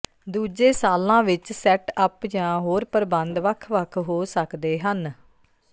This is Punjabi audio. ਦੂਜੇ ਸਾਲਾਂ ਵਿੱਚ ਸੈੱਟਅੱਪ ਜਾਂ ਹੋਰ ਪ੍ਰਬੰਧ ਵੱਖ ਵੱਖ ਹੋ ਸਕਦੇ ਹਨ